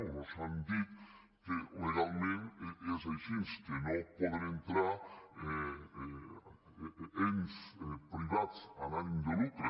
o mos han dit que legalment és així que no hi poden entrar ens privats amb ànim de lucre